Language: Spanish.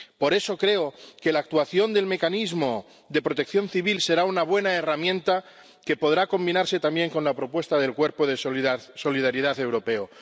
Por eso, creo que la actuación del Mecanismo de Protección Civil será una buena herramienta que podrá combinarse también con la propuesta del Cuerpo de Solidaridad Europeo.